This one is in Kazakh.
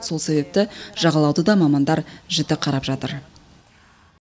сол себепті жағалауды да мамандар жіті қарап жатыр